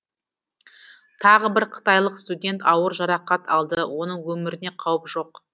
тағы бір қытайлық студент ауыр жарақат алды оның өміріне қауіп жоқ